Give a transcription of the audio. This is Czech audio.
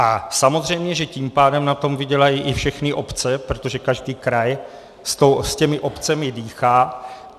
A samozřejmě že tím pádem na tom vydělají i všechny obce, protože každý kraj s těmi obcemi dýchá.